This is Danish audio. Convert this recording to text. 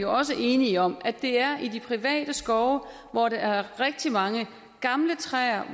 også enige om at det er i de private skove hvor der er rigtig mange gamle træer